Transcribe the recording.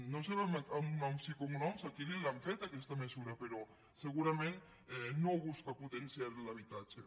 no sabem en noms i cognoms a qui li l’han fet aquesta mesura però segurament no busca potenciar l’habitatge